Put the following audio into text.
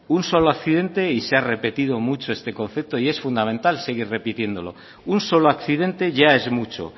un solo accidente y se ha repetido mucho este concepto y es fundamental seguir repitiéndolo un solo accidente ya es mucho